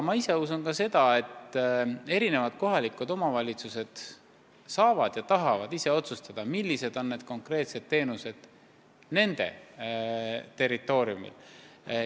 Ma usun, et kohalikud omavalitsused saavad ja tahavad ise otsustada, millised on konkreetsed teenused nende territooriumil.